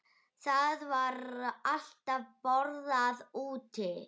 Það var alltaf borðað úti.